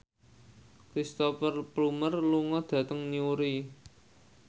Cristhoper Plumer lunga dhateng Newry